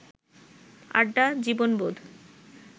আড্ডা, জীবনবোধ